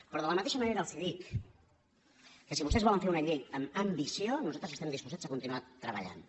però de la mateixa manera els dic que si vosaltres volen fer una llei amb ambició nosaltres estem disposats a continuar treballant hi